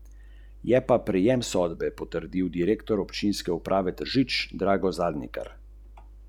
Zdaj je vse jasno!